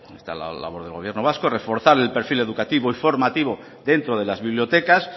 está la labor del gobierno vasco reforzar el perfil educativo y formativo dentro de las bibliotecas